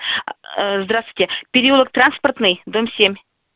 здравствуйте переулок транспортный дом семь